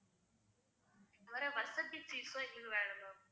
cheese லாம் எங்களுக்கு வேணும் ma'am